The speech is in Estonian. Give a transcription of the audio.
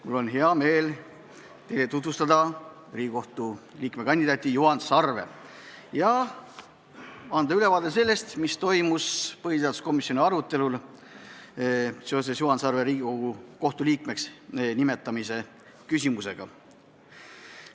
Mul on hea meel teile tutvustada Riigikohtu liikme kandidaati Juhan Sarve ja anda ülevaade sellest, mis toimus põhiseaduskomisjoni arutelul Juhan Sarve Riigikohtu liikmeks nimetamise üle.